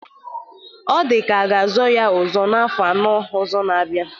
Ọ dịkwa ka ọ ga-azọ ya ọzọ n'afọ anọ ọzọ ga-abịa